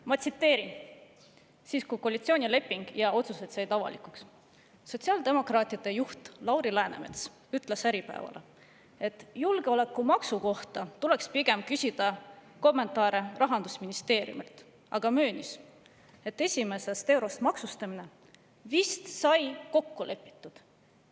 Ma tsiteerin, kui koalitsioonileping ja otsused said avalikuks: "Sotsiaaldemokraatide juht Lauri Läänemets ütles Äripäevale, et julgeolekumaksu kohta tuleks pigem küsida kommentaare rahandusministeeriumilt, aga möönis, et esimesest eurost maksustamine "vist sai tõesti kokku lepitud".